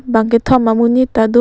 bang kethom amonit ta do.